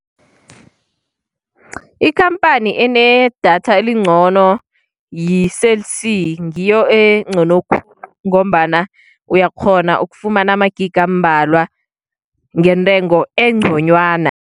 Ikhamphani enedatha elincono yi-Cell C ngiyo encono, ngombana uyakghona ukufumana amagigi ambalwa ngentengo enconywana.